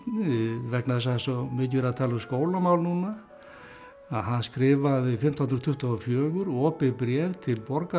vegna þess að það er svo mikið verið að tala um skólamál núna að hann skrifaði fimmtán hundruð tuttugu og fjögur opið bréf til